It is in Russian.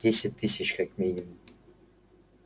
десять тысяч как минимум